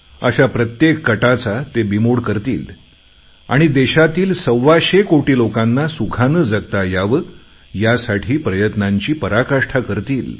अशा प्रत्येक कटाचा ते बिमोड करतील आणि देशातील सव्वाशे कोटी लोकांना सुखाने जगता यावे यासाठी प्रयत्नांची पराकाष्ठा करतील